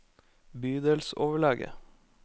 bydelsoverlege